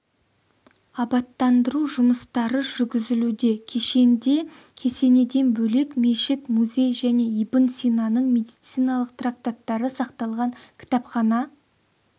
абаттандыру жұмыстары жүргізілуде кешенде кесенеден бөлек мешіт музей және ибн синаның медициналық трактаттары сақталған кітапхана